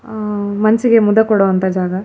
ಆಹ್ಹ್ ಮನಸ್ಸಿಗೆ ಮುದ ಕೊಡೊ ಅಂತ ಜಾಗ --